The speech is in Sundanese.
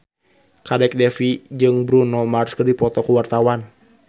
Kadek Devi jeung Bruno Mars keur dipoto ku wartawan